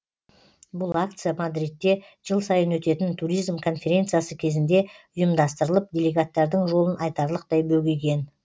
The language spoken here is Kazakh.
бұл акция мадридте жыл сайын өтетін туризм конференциясы кезінде ұйымдастырылып делегаттардың жолын айтарлықтай бөгеген